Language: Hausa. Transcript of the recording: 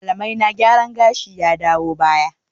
Malamaina gyaran gashi ya dawo baya